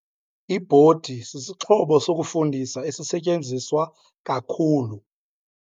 Ibhodi sisixhobo sokufundisa esisetyenziswa kakhulu.